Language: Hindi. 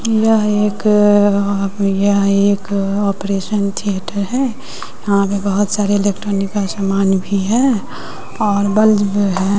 यह एक यह एक आपरेशन थियेटर है यहां पर बहुत सारे इलेक्ट्रॉनिक का सामान भी है और बल्ब है।